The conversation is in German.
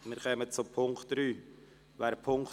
Wir kommen zu Punkt 3.